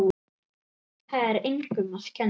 Það er engum að kenna.